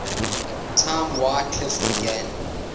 time wycliffe began